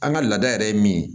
An ka laada yɛrɛ ye min ye